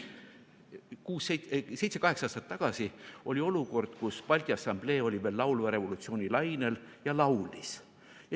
Seitse-kaheksa aastat tagasi oli olukord, kus Balti Assamblee oli veel laulva revolutsiooni lainel ja laulis.